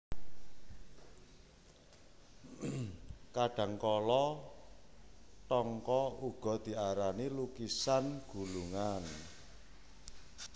Kadhangkala thangka uga diarani lukisan gulungan